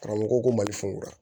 Karamɔgɔ ko ko mali singura